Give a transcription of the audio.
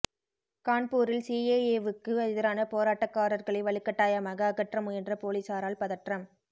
கான்பூரில் சிஏஏவுக்கு எதிரான போராட்டக்காரர்களை வலுக்கட்டாயமாக அகற்ற முயன்ற போலீஸாரால் பதற்றம்